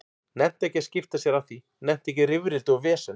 Nennti ekki að skipta sér af því, nennti ekki í rifrildi og vesen.